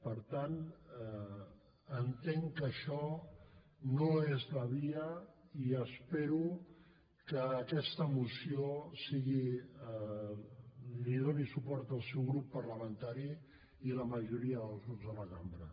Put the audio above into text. per tant entenc que això no és la via i espero que a aquesta moció li donin suport el seu grup parlamentari i la majoria dels grups de la cambra